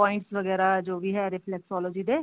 points ਵਗੈਰਾ ਜੋ ਵੀ ਹੈ reflexology ਦੇ